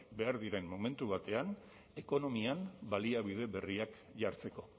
behar diren momentu batean ekonomian baliabide berriak jartzeko